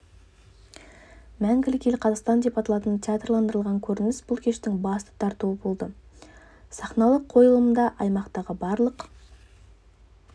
мәңгілік ел қазақстан деп аталатын театрландырылған көрініс бұл кештің басты тартуы болды сахналық қойылымда аймақтағы барлық